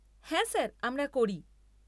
হ্যাঁ স্যার, আমরা করি।